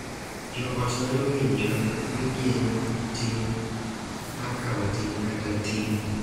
Jo ot nyalo winjo ni gin gi ting’ mar kawo ting’ kata ting’ .